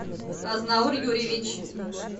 азнаур юрьевич